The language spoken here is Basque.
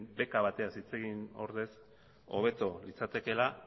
beka batez hitz egin ordez hobeto litzatekeela